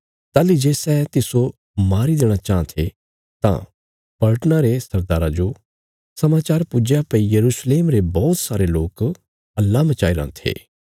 ताहली जे सै तिस्सो मारी देणा चाँह थे तां पलटना रे सरदारा जो समाचार पुज्या भई यरूशलेम रे बौहत सारे लोक हल्ला मचाईराँ थे